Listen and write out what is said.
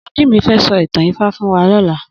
Ogunjimi fè sò itàn Ifá fún wà lòlâ